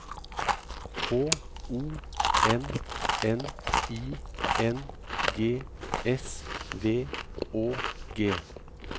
H O N N I N G S V Å G